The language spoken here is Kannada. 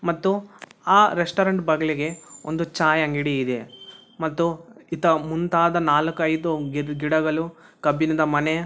ಮತ್ತು ಆ ರೆಸ್ಟೌರೆಂಟ್ ಬಾಗಿಲಿಗೆ ಒಂದು ಚಾಯಿ ಅಂಗಡಿ ಇದೆ ಮತ್ತು ಇಂತ ಮುಂತಾದ ನಾಲ್ಕು ಐದು ಗಿಡಗಳು ಕಬ್ಬಿಣದ ಮನೆ--